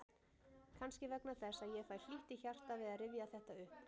Kannski vegna þess að ég fæ hlýtt í hjartað við að rifja þetta upp.